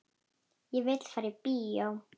Ég vil fara í bíó